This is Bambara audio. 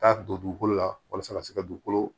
Taa don dugukolo la walasa ka se ka dugukolo